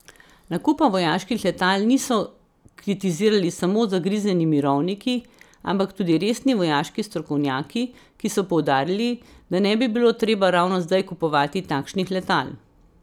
Nakupa vojaških letal niso kritizirali samo zagrizeni mirovniki, ampak tudi resni vojaški strokovnjaki, ki so poudarili, da ne bi bilo treba ravno zdaj kupovati takšnih letal.